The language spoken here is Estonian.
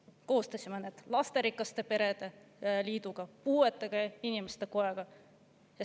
Me koostasime need koos lasterikaste perede liiduga ja puuetega inimeste kojaga.